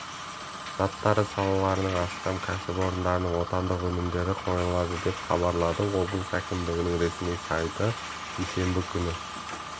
заттары салаларының астам кәсіпорындарының отандық өнімдері қойылды деп хабарлады облыс әкімшілігінің ресми сайты бейсенбі күні